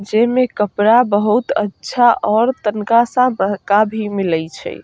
जे में कपड़ा बहुत अच्छा और तनका सा बहका भी मिलई छई।